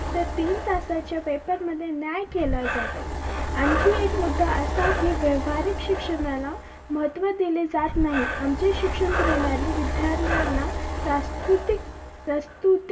तर तीन तासाच्या paper मध्ये न्याय केला जातो आणखी एक मुद्दा असा की व्यवहारीक शिक्षणाला महत्व दिले जात नाही आमचे शिक्षण प्रणाली विद्यार्थ्यांना प्रास्तृतीक प्रस्तुतीक